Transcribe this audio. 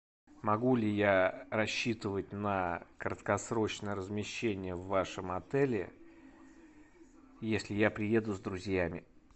могу ли я рассчитывать на краткосрочное размещение в вашем отеле если я приеду с друзьями